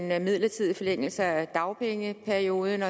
med en midlertidig forlængelse af dagpengeperioden